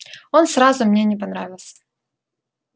он сразу мне не понравился